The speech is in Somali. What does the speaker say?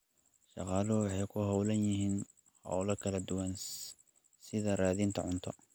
Shaqaaluhu waxay ku hawlan yihiin hawlo kala duwan sida raadinta cunto.